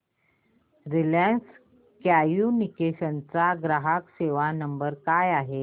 Reliance Communications चा ग्राहक सेवा नंबर काय आहे